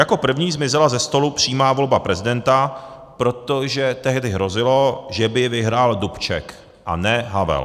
Jako první zmizela ze stolu přímá volba prezidenta, protože tehdy hrozilo, že by vyhrál Dubček, a ne Havel.